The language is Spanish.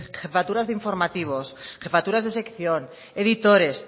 jefatura de informativos jefaturas de sección editores